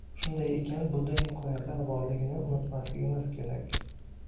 Shunday ekan, bunday imkoniyatlar borligini unutmasligimiz kerak”.